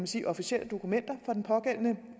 sige officielle dokumenter for den pågældende